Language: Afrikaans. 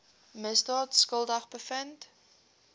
misdaad skuldig bevind